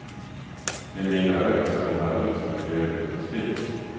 I mina ögon ser det här ut som en helgjuten spik.